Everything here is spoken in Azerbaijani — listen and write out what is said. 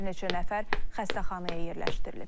Bir neçə nəfər xəstəxanaya yerləşdirilib.